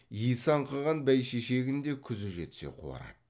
исі аңқыған бәйшешегің де күзі жетсе қуарады